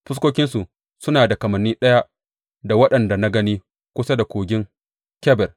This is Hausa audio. Fuskokinsu suna da kamanni ɗaya da waɗanda na gani kusa da Kogin Kebar.